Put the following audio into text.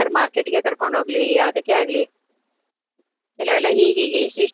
Market ಗೆ ಕರ್ಕೊಂಡು ಹೋಗ್ಲಿ ಯಾವುದಕ್ಕೆ ಆಗ್ಲಿ ಕೆಲೆವೆಲ್ಲ ಹೀಗ್ ಹೀಗೆ ಇಷ್ತಿಷ್ಟು